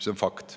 See on fakt.